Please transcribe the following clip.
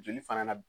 Joli fana na